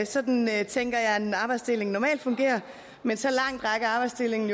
sådan tænker jeg at en arbejdsdeling normalt fungerer men så langt rækker arbejdsdelingen